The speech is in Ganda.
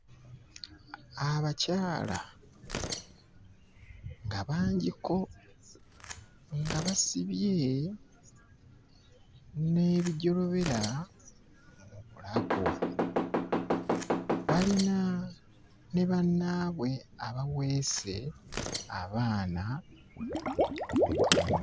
Abakyala nga bangiko nga basibye n'ebijolobera mu bulago, balina ne bannaabwe abaweese abaana ku migongo.